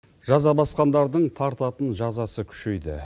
жаза басқандардың тартатын жазасы күшейді